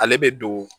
Ale bɛ don